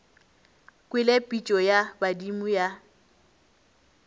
kwele pitšo ya badimo ya